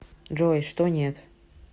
джой что нет